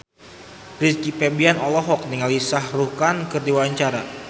Rizky Febian olohok ningali Shah Rukh Khan keur diwawancara